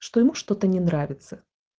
что ему что-то не нравится